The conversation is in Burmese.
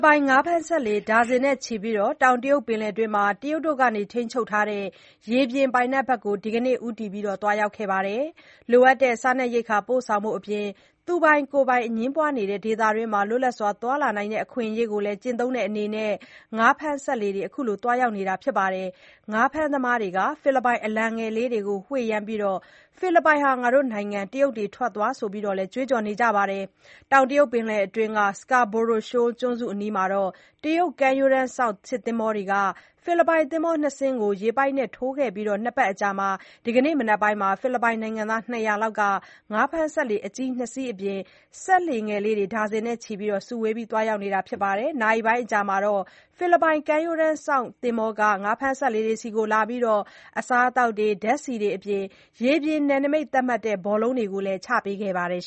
ပိုင် ငါးဖမ်းစက်လှေ ဒါဇင်နဲ့ချီပြီး တောင်တရုတ်ပင်လယ်တွင်း တရုတ်ဘက်က ထိန်းချုပ်ထားတဲ့ ရေပြင်ပိုင်နက်ဘက်ကို ဒီကနေ့ ဦးတည် သွားရောက်ခဲ့ကြပါတယ်။ လိုအပ်တဲ့ စားရေးရိက္ခာ ပို့ဆောင်ဖို့အပြင် သူပိုင်ကိုယ်ပိုင် အငြင်းပွားနေတဲ့ ဒေသတွင်းမှာ လွတ်လပ်စွာသွားလာနိုင်တဲ့ အခွင့်အရေးကိုလည်း ကျင့်သုံးတဲ့အနေနဲ့ ငါးဖမ်းစက်လှေတွေ အခုလို သွားရောက်တာပါ။ ငါးဖမ်းသမားတွေဟာ ဖိလစ်ပိုင်အလံငယ်လေးတွေကို ဝှေ့ယမ်းပြီး ဖိလစ်ပိုင်ဟာ တို့နိုင်ငံ၊ တရုတ်တွေ ထွက်သွား ဆိုပြီးတော့လည်း ကြွေးကြော်ကြပါတယ်။ တောင်တရုတ်ပင်လယ်အတွင်းက Scarborough Schoal ကျွန်းစုအနီးမှာ တရုတ်ကမ်းရိုးတန်းစောင့် စစ်သင်္ဘောတွေဟာ ဖိလစ်ပိုင် သင်္ဘောနှစ်စီးကို ရေပိုက်နဲ့ထိုးခဲ့အပြီး ၂ ပတ်အကြာ ဒီကနေ့မနက်ပိုင်းမှာ ဖိလစ်ပိုင်နိုင်ငံသား ၂၀၀ လောက်ဟာ ငါးဖမ်းစက်လှေ အကြီး ၂ စီးအပြင် စက်လှေငယ်လေးတွေ ဒါဇင်နဲ့ချီ စုဝေးပြီးသွားရောက်တာပါ။ နာရီပိုင်း အကြာမှာတော့ ဖိလစ်ပိုင် ကမ်းရိုးတန်းစောင့်သင်္ဘောဟာ ငါးဖမ်းစက်လှေတွေဆီလာပြီး အစားအစာ၊ ဓါတ်ဆီအပြင် ရေပြင်နယ်နမိတ်သတ်မှတ်တဲ့ ဘောလုံးတွေကိုလည်း ချပေးခဲ့ပါတယ်